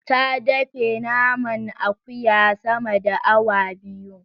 Ta dafe naman akuya sama da awa biyu.